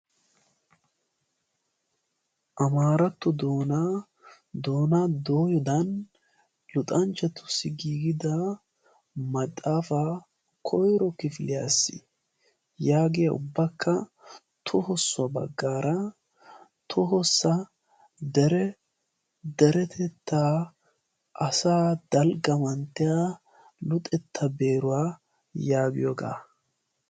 Amaarattona doona dooyodan luxanchchatussi giigida maxaafaa koiro kifiliyaas' yaagiya ubbakka tohossuwaa baggaara tohossa deretettaa asa dalggamantteya luxetta beeruwaa yaagiyoogaa.